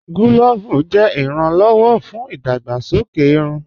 Clóòvù jẹ iràn-lọ́wọ̀ fún idàgbàsọkè ìrùn.